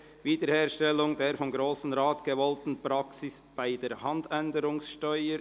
«Wiederherstellung der vom Grossen Rat gewollten Praxis bei der Handänderungssteuer».